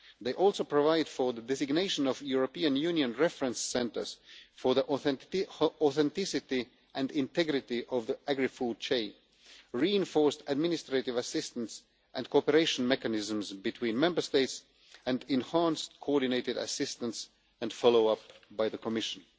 They also provide for the designation of European Union reference centres for the authenticity and integrity of the agri-food chain, reinforced administrative assistance and cooperation mechanisms between Member States, and enhanced coordinated assistance and follow-up by the Commission.